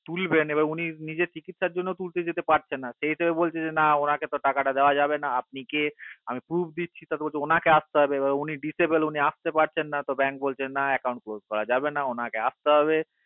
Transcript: তুলবেন এবার উনি চিকিৎসার জন্য উলটে যেতে পারছে না সেই হিসাবে বলছে যে না উনাকে তো টাকাটা দেওয়া যাবে না আপনে কে আমি proof দিচ্ছি উনাকে আসতে হবে এবার উনি disable উনি আসতে পারছে না bank বলছে না account close যাবে না উনাকে আসতে হবে